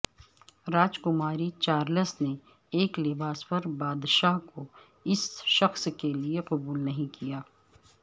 راجکماری Charles نے ایک لباس پر بادشاہ کو اس شخص کے لئے قبول نہیں کیا